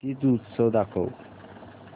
तीज उत्सव दाखव